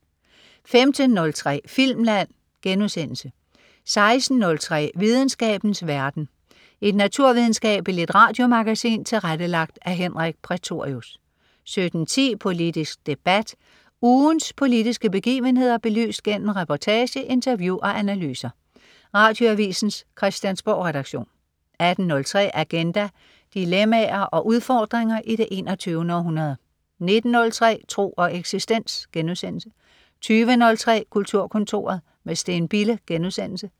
15.03 Filmland* 16.03 Videnskabens verden. Et naturvidenskabeligt radiomagasin tilrettelagt af Henrik Prætorius 17.10 Politisk debat. Ugens politiske begivenheder belyst gennem reportage, interview og analyser. Radioavisens Christiansborgredaktion 18.03 Agenda. Dilemmaer og udfordringer i det 21. århundrede 19.03 Tro og eksistens* 20.03 Kulturkontoret med Steen Bille*